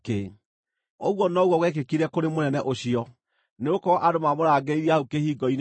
Ũguo noguo gwekĩkire kũrĩ mũnene ũcio, nĩgũkorwo andũ maamũrangĩrĩirie hau kĩhingo-inĩ, agĩkua.